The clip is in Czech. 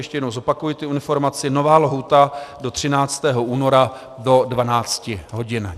Ještě jednou zopakuji tu informaci: Nová lhůta do 13. února do 12 hodin.